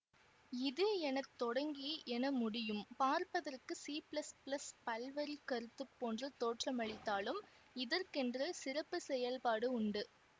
இது என தொடங்கி என முடியும் பார்ப்பதற்கு சி பிளஸ் பிளஸ் பல்வரிக் கருத்து போன்று தோற்றமளித்தாலும் இதற்கென்று சிறப்பு செயல்பாடு உண்டு